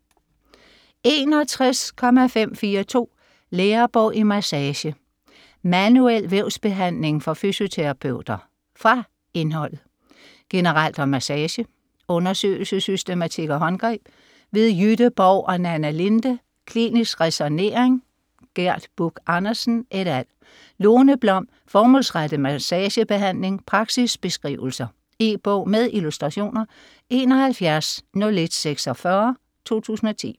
61.542 Lærebog i massage: manuel vævsbehandling for fysioterapeuter Fra indholdet: Generelt om massage; Undersøgelsessystematik og håndgreb / Jytte Borg & Nanna Linde. Klinisk ræsonnering / Gerd Buch Andersen ... et al. Lone Blom: Formålsrettet massagebehandling - praksisbeskrivelser. E-bog med illustrationer 710146 2010.